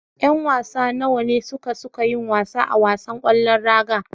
Yan wasa nawa ne suka suke yin wasa a wasan ƙwallon raga.